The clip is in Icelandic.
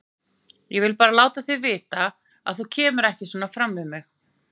Ég vil bara láta þig vita það, að þú kemur ekki svona fram við mig!